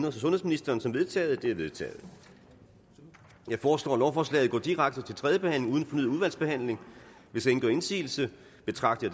og sundhedsministeren som vedtaget de er vedtaget jeg foreslår at lovforslaget går direkte til tredje behandling uden fornyet udvalgsbehandling hvis ingen gør indsigelse betragter